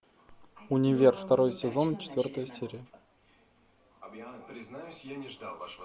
универ второй сезон четвертая серия